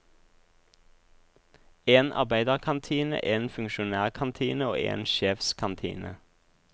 En arbeiderkantine, en funksjonærkantine og en sjefskantine.